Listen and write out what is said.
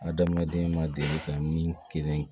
A daminɛ den na deli ka min kelen